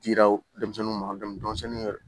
Dira denmisɛnnin ma denmisɛnnin yɛrɛ